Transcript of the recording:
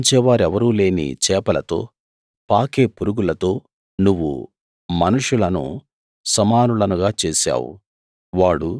పాలించే వారెవరూ లేని చేపలతో పాకే పురుగులతో నువ్వు మనుషులను సమానులనుగా చేశావు